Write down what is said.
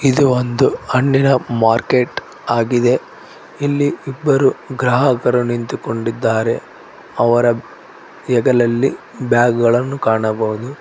ಇದು ಒಂದು ಹಣ್ಣಿನ ಮಾರ್ಕೆಟ್ ಆಗಿದೆ ಇಲ್ಲಿ ಇಬ್ಬರು ಗ್ರಾಹಕರು ನಿಂತು ಕೊಂಡಿದ್ದಾರೆ ಅವರ ಹೆಗಲಲ್ಲಿ ಬ್ಯಾಗ್ ಗಳನ್ನು ಕಾಣಬಹುದು.